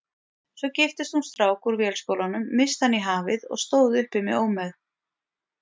Svo giftist hún strák úr Vélskólanum, missti hann í hafið og stóð uppi með ómegð.